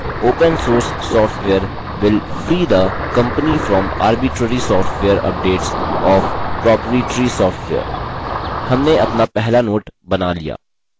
open source software will free the company from arbitrary software updates of proprietary software